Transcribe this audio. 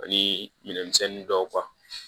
Ani minɛnmisɛn dɔw kan